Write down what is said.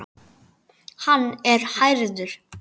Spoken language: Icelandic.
Hann er hærður.